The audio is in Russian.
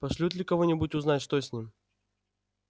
пошлют ли кого-нибудь узнать что с ним